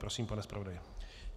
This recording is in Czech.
Prosím, pane zpravodaji.